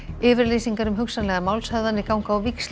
yfirlýsingar um hugsanlegar málshöfðanir ganga á víxl í